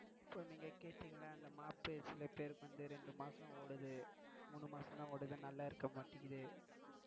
இப்போ நீங்க கேட்யிங் இல்ல இந்த mop சில பேருக்கு வந்து இரண்டு மாசம் ஓடுது மூணு மாசம் தான் ஓடுது நல்லா இருக்கமாட்டேங்குது.